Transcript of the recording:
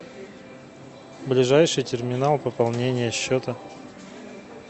ближайший терминал пополнения счета